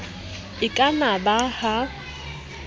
e ka na ba ha